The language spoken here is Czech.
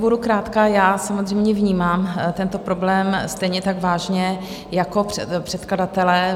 Budu krátká, já samozřejmě vnímám tento problém stejně tak vážně jako předkladatelé.